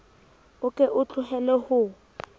o ke o tlohele ho